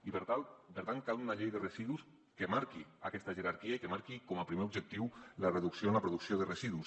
i per tant cal una llei de residus que marqui aquesta jerarquia i que marqui com a primer objectiu la reducció en la producció de residus